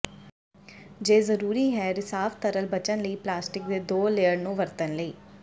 ਜੇ ਜਰੂਰੀ ਹੈ ਰਿਸਾਵ ਤਰਲ ਬਚਣ ਲਈ ਪਲਾਸਟਿਕ ਦੇ ਦੋ ਲੇਅਰ ਨੂੰ ਵਰਤਣ ਲਈ